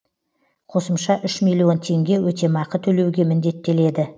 қосымша үш миллион теңге өтемақы төлеуге міндеттеледі